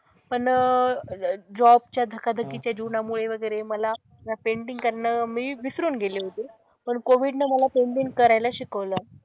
पण जॉब च्या धकाधकीच्या जीवनामुळे वगैरे मला ना पैंटिंग करणं मी विसरून गेले होते. पण कोविडने मला पैंटिंग करायला शिकवलं.